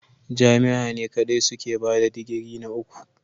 Jami'a ne kadai suke bada digiri na uku.